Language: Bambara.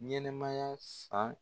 Ɲɛnɛ maya san